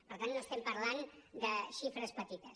per tant no estem parlant de xifres petites